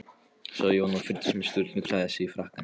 sagði Jón, og fylgdist með Sturlu klæða sig í frakkann.